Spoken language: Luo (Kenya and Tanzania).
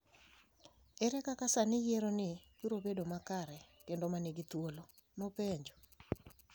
Ere kaka sani yiero ni biro bedo makare kendo ma nigi thuolo?, ne openjo.